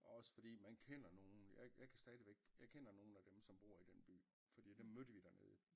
Og også fordi man kender nogen jeg jeg kan stadigvæk jeg kender nogen af dem der bor i den by fordi dem mødte vi der nede